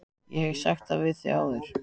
Ég hef sagt það við þig áður.